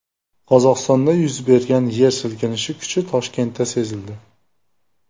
Qozog‘istonda yuz bergan yer silkinishi kuchi Toshkentda sezildi.